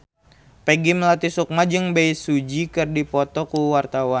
Peggy Melati Sukma jeung Bae Su Ji keur dipoto ku wartawan